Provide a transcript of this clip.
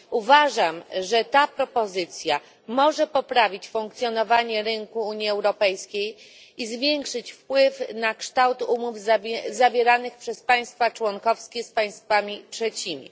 Uważam, że ta propozycja może poprawić funkcjonowanie rynku Unii Europejskiej i zwiększyć jej wpływ na kształt umów zawieranych przez państwa członkowskie z państwami trzecimi.